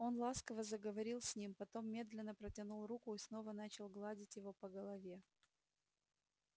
он ласково заговорил с ним потом медленно протянул руку и снова начал гладить его по голове